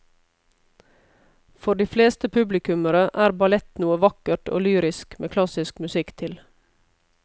For de fleste publikummere er ballett noe vakkert og lyrisk med klassisk musikk til.